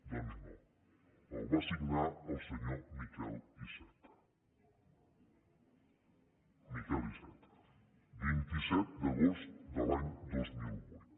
doncs no el va signar el senyor miquel iceta miquel iceta vint set d’agost de l’any dos mil vuit